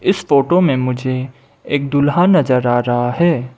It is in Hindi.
इस फोटो में मुझे एक दुल्हा नजर आ रहा है।